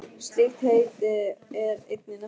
Slíkt heiti er einnig nefnt firma.